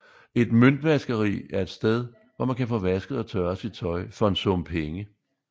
Et møntvaskeri et et sted hvor man kan få vasket og tørret sit tøj for en sum penge